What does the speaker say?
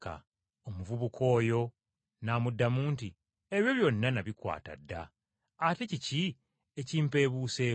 Omuvubuka oyo n’amuddamu nti, “Ebyo byonna nabikwata dda, ate kiki ekimpeebuuseeko?”